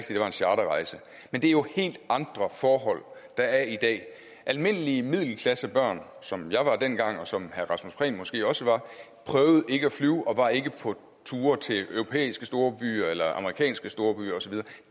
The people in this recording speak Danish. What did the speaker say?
det var en charterrejse men det er jo helt andre forhold der er i dag almindelige middelklassebørn som jeg var dengang og som herre rasmus prehn måske også var prøvede ikke at flyve og var ikke på ture til europæiske storbyer eller amerikanske storbyer og så